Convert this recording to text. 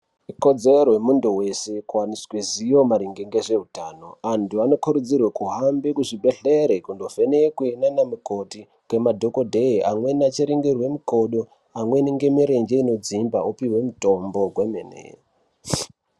Ikodzero yemuntu vese kuvaniswa zivo maringe ngezveutano. Antu vanokurudzirwe kuhambe kuzvibhedhlere kuti vanovhenekwe ndiana mukoti ngemadhogodheye. Amweni achiringirwe mikodo amweni ngemirenje inodzimba achipihwe mutombo hwemene.